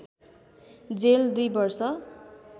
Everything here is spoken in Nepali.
जेल २ वर्ष